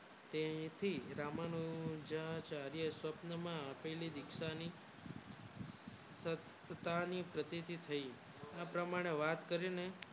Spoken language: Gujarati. તે થી રામનું ચારેય સ્વપ્ન માં આપેલી દિખતા ની સ્વચ્પ્ત રતીતી થયી આ પ્રમાણે વાત કરી ને